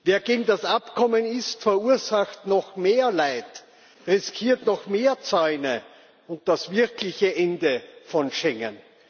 Wer gegen das Abkommen ist, verursacht noch mehr Leid, riskiert noch mehr Zäune und das wirkliche Ende von Schengen.